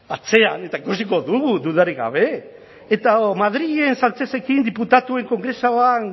atzean eta ikusiko dugu dudarik gabe eta hau madrilen sánchezekin diputatuen kongresuan